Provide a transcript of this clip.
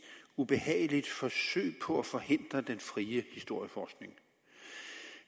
ubehageligt forsøg på at forhindre den frie historieforskning